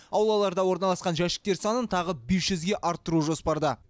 аулаларда орналасқан жәшіктер санын тағы бес жүзге арттыру жоспарда